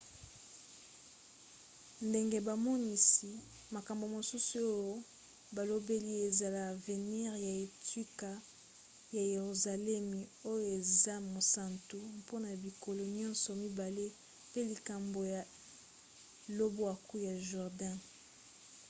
ndenge bamonisi makambo mosusu oyo balobeli ezala avenire ya etuka ya yeruzaleme oyo eza mosantu mpona bikolo nyonso mibale pe likambo ya lobwaku ya jourdain